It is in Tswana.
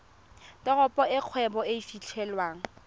teropo e kgwebo e fitlhelwang